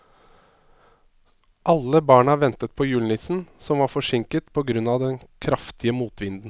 Alle barna ventet på julenissen, som var forsinket på grunn av den kraftige motvinden.